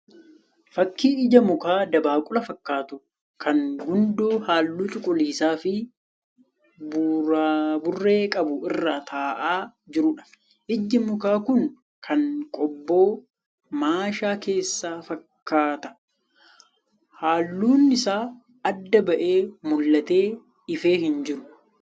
Fakkii ija mukaa dabaaqula fakkaatu kan gundoo halluu cuquliisaa fi buraaburree qabu irra taa'aa jiruudha. Iji mukaa kun kan qobboo maasha keessaa fakkaata. Halluun isaa adda ba'ee mul'atee ifee hin jiru.